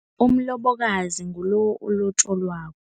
Umlobokazi ngilo olotjolwako.